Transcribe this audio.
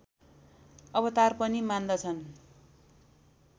अवतार पनि मान्दछन्